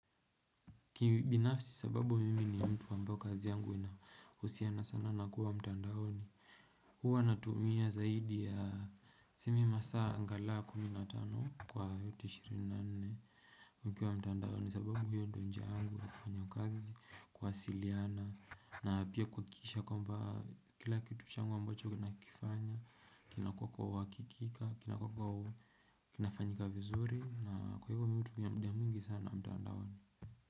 Kibinafsi sababu mimi ni mtu wa ambao kazi yangu inahusiana sana na kuwa mtandaoni Huwa natumia zaidi ya tuseme masaa angalau kumi na tano kwa yote ishirini na nne nikiwa mtandaoni sababu hiyo ndo njia yangu ya kufanya kazi, kuwasiliana na pia kuhakikisha kwamba kila kitu changu ambacho ninakifanya kinakuwa kwa uhakikika, kinakuwa kwa kinafanyika vizuri na kwa hivyo mi hutumia muda mwingi sana mtandaoni.